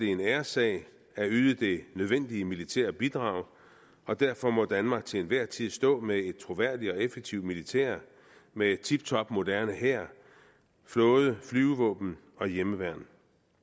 en æressag at yde det nødvendige militære bidrag derfor må danmark til enhver tid stå med et troværdigt og effektivt militær med tiptop moderne hær flåde flyvevåben og hjemmeværn